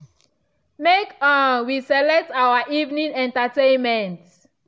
make um we select our evening entertainment.